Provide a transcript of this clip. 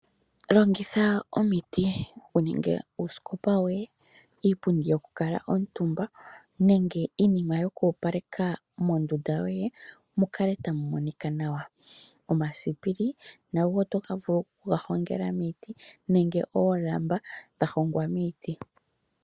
Aantu yamwe ohaya longitha iiti okuninga iinima yomoondunda dhawo, opo mukale tamu monika nawa. Iinima ngaashi uusikopa, iipundi yoku kala omutumba omasipili nago oto vulu okuga hongela miiti oshowo oolamba dha hongwa miiti.